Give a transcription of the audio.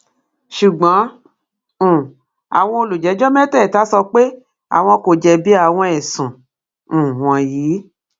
ṣùgbọn um àwọn olùjẹjọ mẹtẹẹta sọ pé àwọn kò jẹbi àwọn ẹsùn um wọnyí